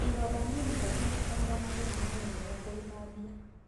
Ironda nini kaingĩ itikoragwo na thĩna no nĩ wega kũithambia.